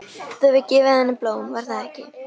Þú hefur gefið henni blóm, var það ekki?